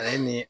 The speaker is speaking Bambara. A ye nin ye